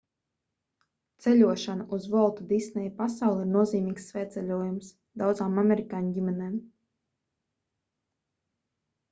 ceļošana uz volta disneja pasauli ir nozīmīgs svētceļojums daudzām amerikāņu ģimenēm